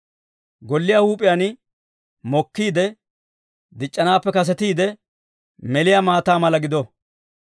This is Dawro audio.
Golliyaa huup'iyaan mokkiide, dic'c'anaappe kasetiide meliyaa maataa mala gido.